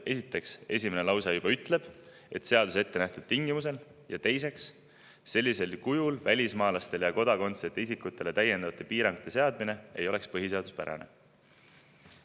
Esiteks, esimene lause juba ütleb, et seaduses ettenähtud tingimustel, ja teiseks, sellisel kujul välismaalastele ja kodakondsuseta isikutele täiendavate piirangute seadmine ei oleks põhiseaduspärane.